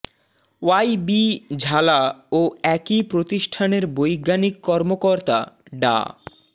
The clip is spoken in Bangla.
ওয়াই বি ঝালা ও একই প্রতিষ্ঠানের বৈজ্ঞানিক কর্মকর্তা ডা